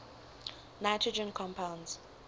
nitrogen compounds